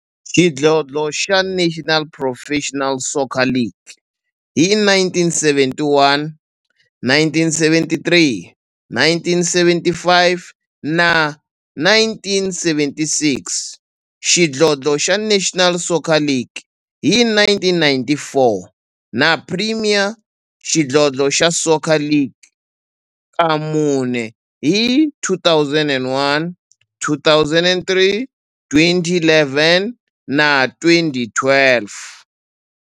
xidlodlo xa National Professional Soccer League hi 1971, 1973, 1975 na 1976, xidlodlo xa National Soccer League hi 1994, na Premier Xidlodlo xa Soccer League ka mune, hi 2001, 2003, 2011 na 2012.